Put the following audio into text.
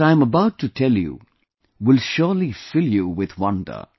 What I am about to tell you will surely fill you with wonder